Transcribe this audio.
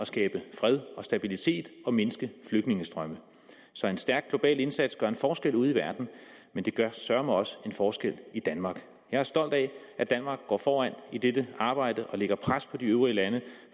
skabe fred og stabilitet og mindske flygtningestrømme så en stærk global indsats gør en forskel ude i verden men det gør søreme også en forskel i danmark jeg er stolt af at danmark går foran i dette arbejde og lægger pres på de øvrige lande